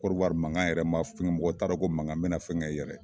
Kɔrowari makan yɛrɛ man fɛnkɛ mɔgɔ t'a dɔn ko mankan bɛna fɛnkɛ yɛrɛ.